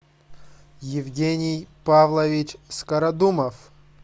евгений павлович скородумов